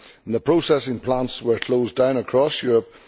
The processing plants were closed down across Europe.